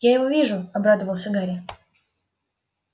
я его вижу обрадовался гарри